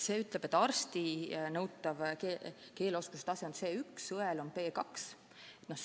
See ütleb, et arsti nõutav keeleoskuse tase on C1, õel on B2.